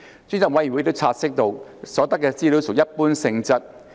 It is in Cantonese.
專責委員會亦察悉到，所得資料屬一般性質。